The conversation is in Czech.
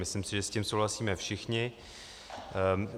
Myslím si, že s tím souhlasíme všichni.